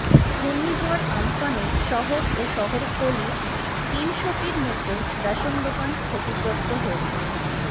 ঘূর্ণীঝড় আমফানে শহর ও শহরতলির তিনশোটির মতো রেশন দোকান ক্ষতিগ্রস্ত হয়েছে